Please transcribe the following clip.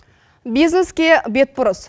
бизнеске бетбұрыс